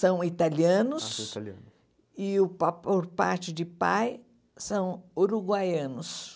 São italianos e, o pa por parte de pai, são uruguaianos.